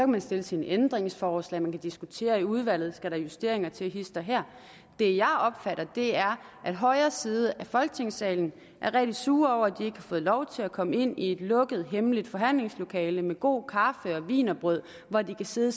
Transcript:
man stille sine ændringsforslag man kan diskutere i udvalget skal justeringer til hist og her det jeg opfatter er at højre side af folketingssalen er rigtig sure over at de ikke har fået lov til at komme ind i et lukket hemmeligt forhandlingslokale med god kaffe og wienerbrød hvor de kan sidde